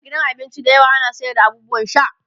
a gidan abinci da yawa ana sayar da abubuwan sha